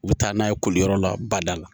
U bɛ taa n'a ye koliyɔrɔ la bada la